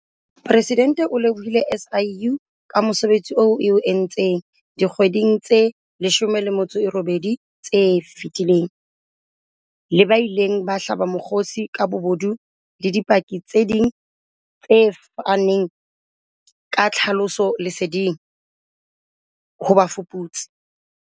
Presidente o lebohile SIU ka mosebetsi oo e o entseng dikgweding tse 18 tse fetileng, le ba ileng ba hlaba mokgosi ka bobodu le dipaki tse ding tse faneng ka tlhahisoleseding ho bafuputsi.